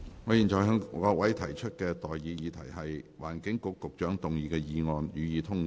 我現在向各位提出的待決議題是：環境局局長動議的議案，予以通過。